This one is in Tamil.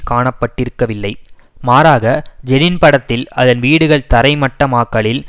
காணப்பட்டிருக்கவில்லை மாறாக ஜெனின் படத்தில் அதன் வீடுகள் தரைமட்டமாக்கலில்